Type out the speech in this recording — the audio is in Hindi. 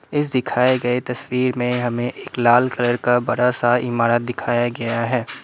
इस दिखाए गए तस्वीर में हमें एक लाल कलर का बड़ा सा इमारत दिखाया गया है।